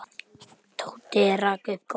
Tóti rak upp gól.